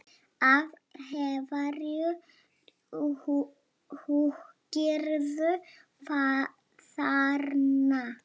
Af hverju húkirðu þarna?